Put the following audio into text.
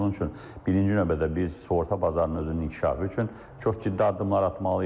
Yəni bunun üçün birinci növbədə biz sığorta bazarının özünün inkişafı üçün çox ciddi addımlar atmalıyıq.